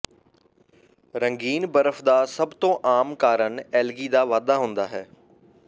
ਰੰਗੀਨ ਬਰਫ਼ ਦਾ ਸਭ ਤੋਂ ਆਮ ਕਾਰਨ ਐਲਗੀ ਦਾ ਵਾਧਾ ਹੁੰਦਾ ਹੈ